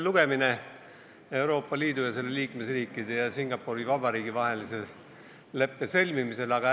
Täna on Euroopa Liidu ja selle liikmesriikide ning Singapuri Vabariigi vahelise leppe sõlmimise teine lugemine.